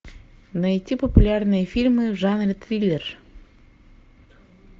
найти популярные фильмы в жанре триллер